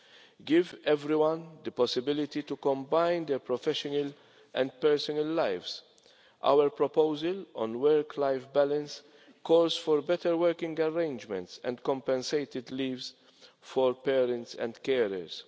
To give everyone the possibility to combine their professional and personal lives Our proposal on work life balance calls for better working arrangements and compensated leave for parents and carers.